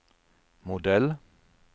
modell